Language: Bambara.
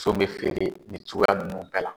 Woson be feere nin cogoya nunnu bɛɛ la.